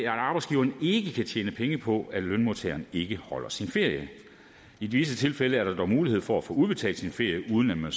at arbejdsgiveren ikke kan tjene penge på at lønmodtageren ikke holder sin ferie i visse tilfælde er der dog mulighed for at få udbetalt sine feriepenge uden at man